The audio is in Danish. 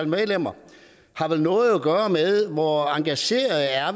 medlemmer har vel noget at gøre med hvor engagerede